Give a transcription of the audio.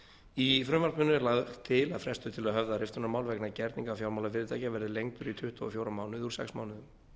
í frumvarpinu er lagt til að frestur til að höfða riftunarmál vegna gerninga fjármálafyrirtækja verði lengdur í tuttugu og fjóra mánuði úr sex mánuðum